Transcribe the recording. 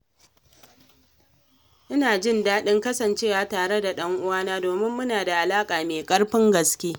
Ina jin daɗin kasancewa tare da ɗan'uwana domin muna da alaƙa mai ƙarfin gaske.